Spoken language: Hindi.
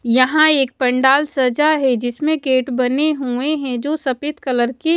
यहाँ एक पंडाल सजा है जिसमें गेट बने हुए हैं जो सफेद कलर के--